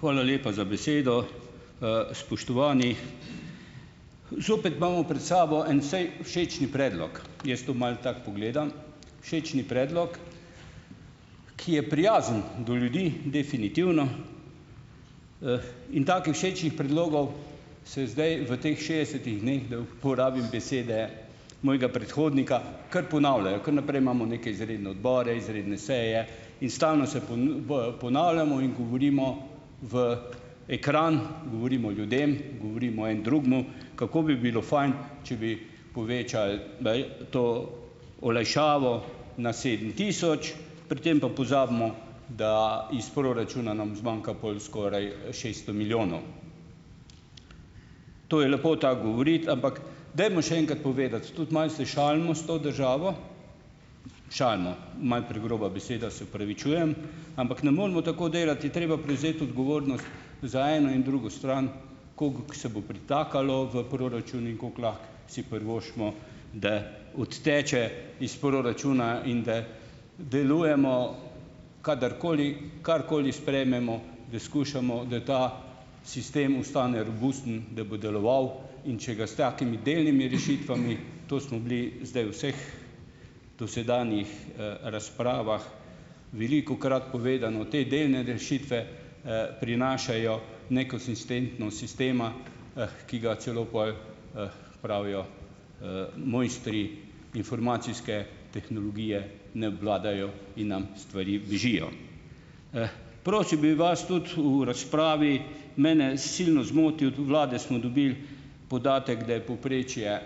Hvala lepa za besedo! Spoštovani! Zopet imamo pred sabo en, všečen predlog. Jaz to malo tako pogledam. Všečen predlog, ki je prijazen do ljudi, definitivno, in takih všečnih predlogov se zdaj v teh šestdesetih dneh, da uporabim besede mojega predhodnika, kar ponavljajo. Kar naprej imamo neke izredne odbore, izredne seje in stalno se ponavljamo in govorimo v ekran, govorimo ljudem, govorimo en drugemu, kako bi bilo fajn, če bi povečali, to olajšavo na sedem tisoč, pri tem pa pozabimo, da iz proračuna nam zmanjka pol skoraj, šeststo milijonov. To je lepo tako govoriti, ampak dajmo še enkrat povedati, tudi malo se šalimo s to državo, šalimo, malo pregroba beseda, se opravičujem, ampak ne moremo tako delati. Je treba prevzeti odgovornost za eno in drugo stran, kako se bo pritakalo v proračun in kako lahko si privoščimo, da odteče iz proračuna in da delujemo kadarkoli, karkoli sprejmemo, da skušamo, da ta sistem ostane robusten, da bo deloval, in če ga s takimi delnimi rešitvami, to smo bili zdaj v vseh dosedanjih, razpravah velikokrat povedano, te delne rešitve, prinašajo nekonsistentnost sistema, ki ga celo pol, pravijo, mojstri informacijske tehnologije ne obvladajo in nam stvari bežijo. Prosil bi vas tudi v razpravi, mene silno zmoti, od vlade smo dobili podatek, da je povprečje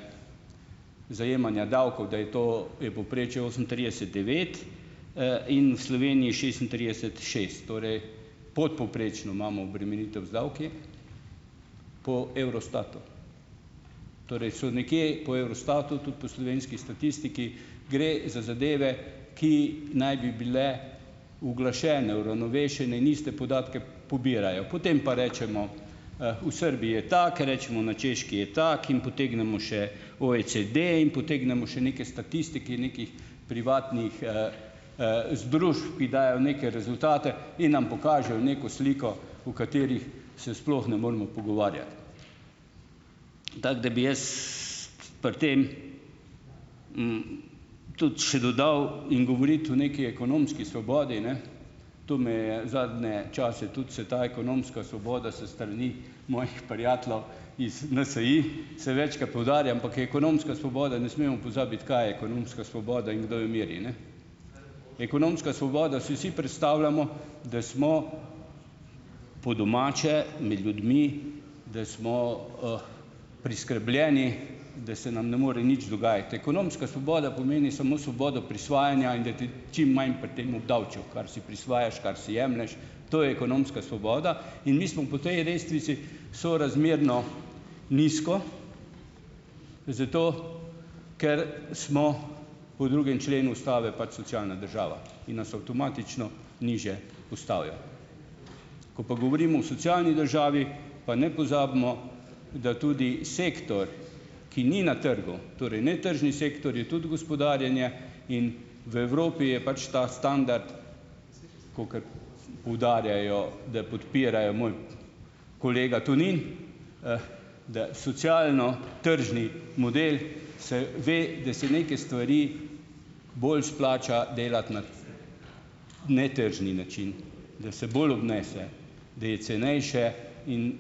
zajemanja davkov, da je to, je povprečje osemintrideset devet, in v Sloveniji šestintrideset šest. Torej, podpovprečno imamo obremenitev z davki, po Eurostatu. Torej so nekje po Eurostatu, tudi po slovenski statistiki, gre za zadeve, ki naj bi bile uglašene, uravnovešene in iste podatke pobirajo. Potem pa rečemo, v Srbijo je tako, rečemo na Češki je tako in potegnemo še OECD in potegnemo še neke statistike nekih privatnih, združb, ki dajejo neke rezultate in nam pokažejo neko sliko, o katerih se sploh ne moremo pogovarjati. Tako da bi jaz pri tem tudi še dodal in govoriti o neki ekonomski svobodi, ne, to me je, zadnje čase tudi se ta ekonomska svoboda s strani mojih prijateljev iz NSi, se večkrat poudarja, ampak je ekonomska svoboda, ne smemo pozabiti, kaj je ekonomska svoboda in kdo jo meri, ne. Ekonomska svoboda, si vsi predstavljamo, da smo po domače, med ljudmi, da smo, preskrbljeni, da se nam ne more nič dogajati. Ekonomska svoboda pomeni samo svoboda prisvajanja in da te čim manj pri tem obdavčijo, kar si prisvajaš, kar si jemlješ, to je ekonomska svoboda, in mi smo po tej lestvici sorazmerno nizko, zato ker smo po drugem členu ustave pač socialna država. In nas avtomatično nižje postavijo. Ko pa govorimo o socialni državi pa ne pozabimo, da tudi sektor, ki ni na trgu - torej netržni sektorji, tudi gospodarjenje - in v Evropi je pač ta standard, kakor poudarjajo, da podpirajo - moj kolega Tonin, - da socialno-tržni model, se ve, da se neke stvari bolj splača delati na netržni način. Da se bolj obnese. Da je cenejše in,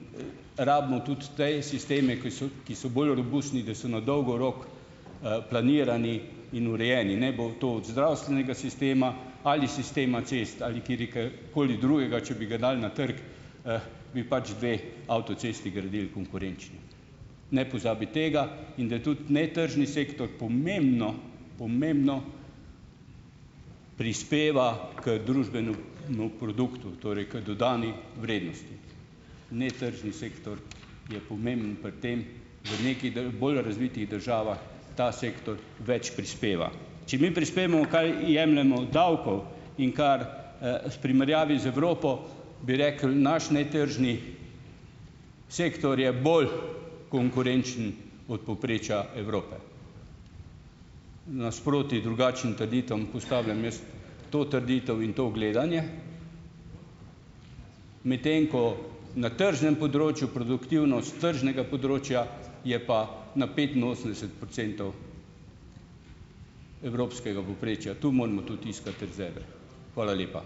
rabimo tudi te sisteme, ko so, ki so bolj robustni, da se na dolgi rok, planirani in urejeni. Naj bo to od zdravstvenega sistema ali sistema cest ali katerega koli drugega, če bi ga dal na trg, bi pač dve avtocesti gradili konkurenčni. Ne pozabiti tega. In da tudi netržni sektor pomembno, pomembno prispeva k družbenemu produktu, torej k dodani vrednosti. Netržni sektor je pomembno pri tem - v nekih bolj razvitih državah ta sektor več prispeva. Če mi prispemo, kaj jemljemo davkov, in kar, v primerjavi z Evropo, bi rekli, naš netržni sektor je bolj konkurenčen od povprečja Evrope. Nasproti drugačnim trditvam postavljam jaz to trditev in to gledanje. Medtem ko na tržnem področju produktivnost tržnega področja, je pa na petinosemdeset procentov evropskega povprečja. Tu moramo tudi iskati rezerve. Hvala lepa.